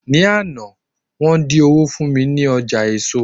ní Ana, won din owó fún mi ní ọjà eso